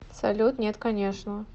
салют нет конечно